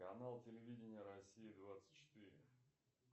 канал телевидения россия двадцать четыре